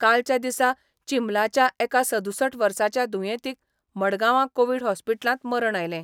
कालच्या दिसा चिंबलाच्या एका सदुसठ वर्साच्या दुयेंतीक मडगांवां कोवीड हॉस्पिटलांत मरण आयलें.